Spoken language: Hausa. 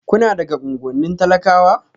Kuna daga unguwannin talakawa?